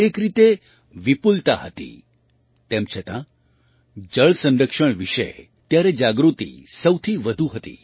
એક રીતે વિપુલતા હતી તેમ છતાં જળ સંરક્ષણ વિશે ત્યારે જાગૃતિ સૌથી વધુ હતી